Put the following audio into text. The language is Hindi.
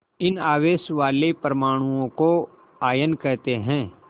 इन आवेश वाले परमाणुओं को आयन कहते हैं